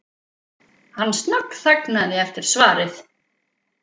Hann snöggþagnaði eftir svarið.